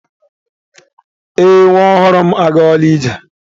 Ee, nwa ọhụrụ m agawala ije.